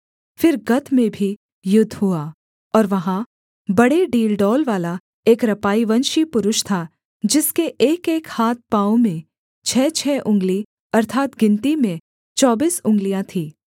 फिर गत में भी युद्ध हुआ और वहाँ बड़े डीलडौल वाला एक रपाईवंशी पुरुष था जिसके एकएक हाथ पाँव में छः छः उँगली अर्थात् गिनती में चौबीस उँगलियाँ थीं